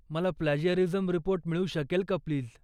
मला plagiarism report मिळू शकेल का प्लीज.